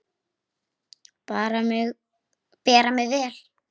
Bera mig vel?